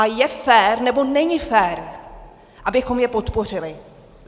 A je fér, nebo není fér, abychom je podpořili?